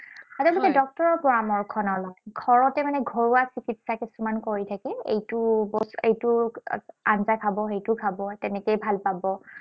সিহঁতে পিছে ডক্তৰৰ পৰামৰ্শ নললে। ঘৰতে মানে ঘৰুৱা চিকিৎসা কিছুমান কৰি থাকিল। এইটো এইটো আঞ্জা খাব, সেইটো খাব, তেনেকয়ে ভাল পাব।